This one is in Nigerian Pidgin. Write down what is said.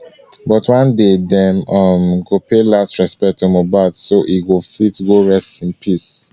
but one day dem um go pay last respect to late mohbad so e go fit go rest in peace